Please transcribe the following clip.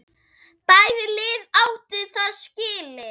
Bæði lið áttu það skilið.